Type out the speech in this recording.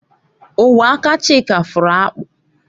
Ogwe aka Chika fụrụ akpụ